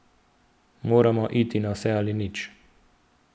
Moramo iti na vse ali nič.